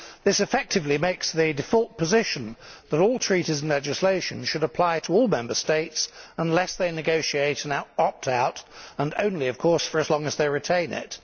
This effectively makes the default position that all treaties and legislation should apply to all Member States unless they negotiate an opt out and only, of course, for as long as they retain it.